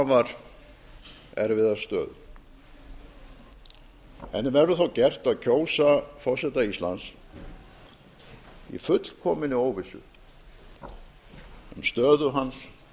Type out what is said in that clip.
afar erfiða stöðu henni verður þá gert að kjósa forseta íslands í fullkominni óvissu um stöðu hans